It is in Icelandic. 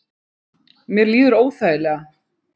Mér líður óþægilega